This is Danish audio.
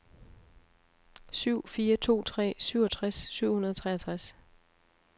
syv fire to tre syvogtres syv hundrede og treogtres